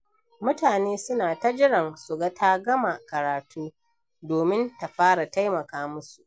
Mutane suna ta jiran su ga ta gama karatu domin ta fara taimaka musu.